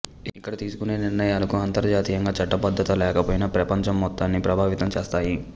ఇక్కడ తీసుకొనే నిర్ణయాలకు అంతర్జాతీయంగా చట్టబద్ధత లేకపోయినా ప్రపంచం మొత్తాన్ని ప్రభావితం చేస్తాయి